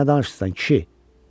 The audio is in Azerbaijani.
Sən nə danışırsan, kişi?